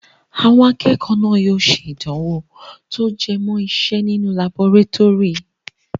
Àwọn akẹ́kọ̀ọ́ náà yóò ṣe ìdánwò tí ó jẹ mọ́ ìse nínú laborétórì.